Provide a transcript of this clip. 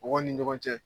Mɔgɔw ni ɲɔgɔn cɛ